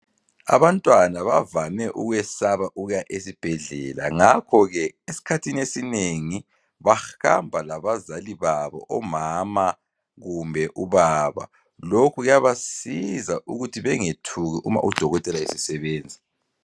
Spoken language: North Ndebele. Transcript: Abantwana bavame ukwesaba ukuya ezibhedlela, ngakho ke esikhathini esinengi bahamba labazali babo, omama kumbe ubaba, lokhu kuyabasiza ukuthi bengethuki uma uDokotela esesebenza.